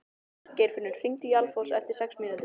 Geirfinnur, hringdu í Alfons eftir sex mínútur.